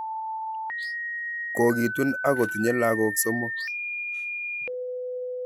Kogitun ako tinye lagok somok